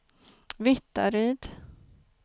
Vittaryd